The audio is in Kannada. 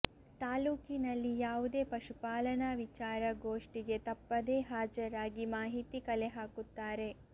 ತಾಲ್ಲೂಕಿನಲ್ಲಿ ಯಾವುದೇ ಪಶುಪಾಲನಾ ವಿಚಾರ ಗೋಷ್ಠಿಗೆ ತಪ್ಪದೇ ಹಾಜರಾಗಿ ಮಾಹಿತಿ ಕಲೆಹಾಕುತ್ತಾರೆ